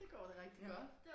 Det går da rigtig godt